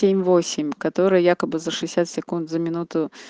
семь восемь которые якобы за шестьдесят секунд за минуту